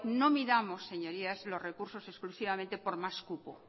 no miramos señorías los recursos exclusivamente por más cupo